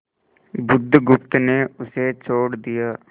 बुधगुप्त ने उसे छोड़ दिया